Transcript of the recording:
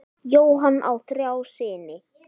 Jóhann á þrjá syni.